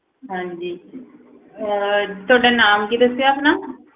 ਹਾਂਜੀ ਅਹ ਤੁਹਾਡਾ ਨਾਮ ਕੀ ਦੱਸਿਆ ਆਪਣਾ?